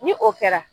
Ni o kɛra